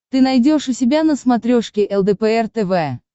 ты найдешь у себя на смотрешке лдпр тв